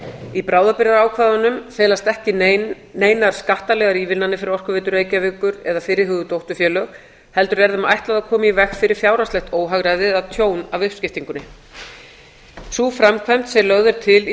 í bráðabirgðaákvæðunum felast ekki neinar skattalegar ívilnanir fyrir orkuveitu reykjavíkur eða fyrirhuguð dótturfélög heldur er þeim ætlað að koma í veg fyrir fjárhagslegt óhagræði eða tjón af uppskiptingunni sú framkvæmd sem lögð er til í